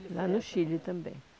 Lá no Chile também.